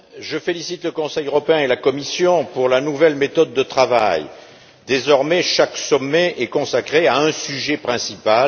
Monsieur le Président, je félicite le Conseil européen et la Commission pour la nouvelle méthode de travail désormais, chaque sommet est consacré à un sujet principal.